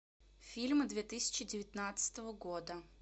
фильмы две тысячи девятнадцатого года